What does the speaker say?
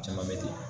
Caman bɛ ten